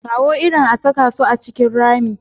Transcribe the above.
Kawo irin a saka su a cikin rami.